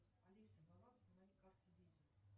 алиса баланс на моей карте виза